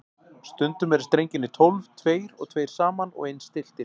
Stundum eru strengirnir tólf, tveir og tveir saman og eins stilltir.